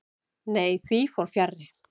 Nei, því fór fjarri.